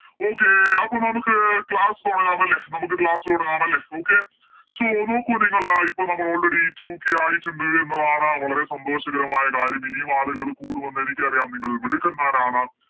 Okay അപ്പൊ നമുക്ക് Class തൊടങ്ങാം അല്ലെ നമുക്ക് Class തൊടങ്ങാം അല്ലെ Okay so നോക്കു നിങ്ങള് ഇപ്പൊ നമ്മള് Already two k ആയിട്ടുണ്ട് എന്നുള്ളതാണ് വളരെ സന്തോഷകരമായ കാര്യം ഇനിയും ആളുകള് കൂടും എന്നെനിക്കറിയാം നിങ്ങൾ മിടുക്കന്മാരാണ്